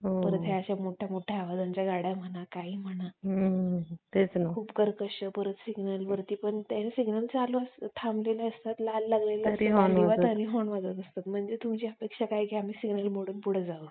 त्यामध्ये तिचे आह दुसऱ्या family मध्ये आह त्या एक मुलगा असतो त्याचे पण अं आई वडील आणि त्याची बहीण अशी त्यांची family असते आणि हम्म